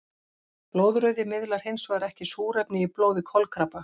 Blóðrauði miðlar hinsvegar ekki súrefni í blóði kolkrabba.